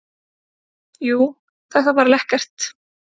Jú, þetta var lekkert.